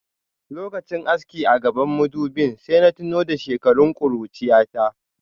Lokachin aski a gabban madubin sai na tuna da shekarun kurchiyata.